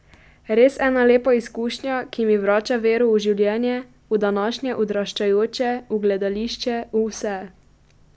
Res ena lepa izkušnja, ki mi vrača vero v življenje, v današnje odraščajoče, v gledališče, v vse.